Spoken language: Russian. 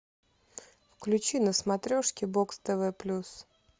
включи на смотрешке бокс тв плюс